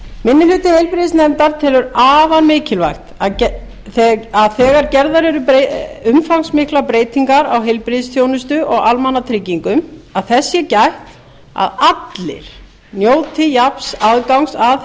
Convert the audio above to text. minni hluti heilbrigðisnefndar telur afar mikilvægt þegar gerðar eru umfangsmiklar breytingar á heilbrigðisþjónustu og almannatryggingum að þess sé gætt að allir njóti jafns aðgangs að